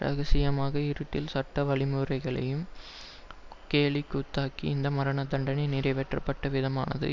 இரகசியமாக இருட்டில் சட்ட வழிமுறைகளையும் கேலிக்கூத்தாக்கி இந்த மரண தண்டனை நிறைவேற்றப்பட்ட விதமானது